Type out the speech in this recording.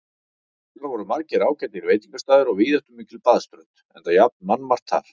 Þar voru margir ágætir veitingastaðir og víðáttumikil baðströnd, enda jafnan mannmargt þar.